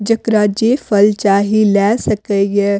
जेकरा जे फल चाही ले सकय ये।